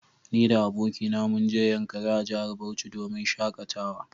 Ni da abokina munje yankari a jahar Bauchi domin shakatawa